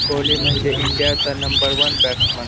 कोहली म्हणजे इंडिया चा number one batsman .